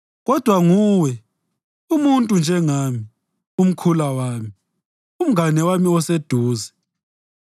Kodwa nguwe, umuntu njengami, umkhula wami, umngane wami oseduze,